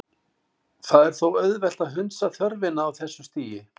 Það er þó auðvelt að hunsa þörfina á þessu stigi.